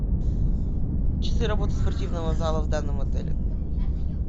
часы работы спортивного зала в данном отеле